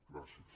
gràcies